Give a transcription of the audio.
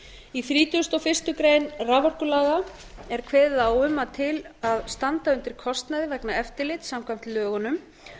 í þrítugasta og fyrstu greinar raforkulaga er kveðið á um að til að standa undir kostnaði vegna eftirlits samkvæmt lögunum